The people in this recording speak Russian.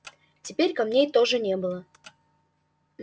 теперь камней тоже не было